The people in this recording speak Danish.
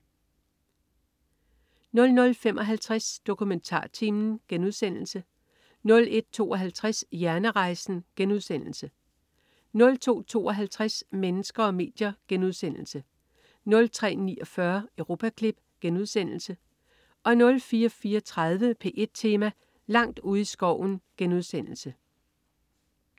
00.55 DokumentarTimen* 01.52 Hjernerejsen* 02.52 Mennesker og medier* 03.49 Europaklip* 04.34 P1 Tema: Langt ude i skoven*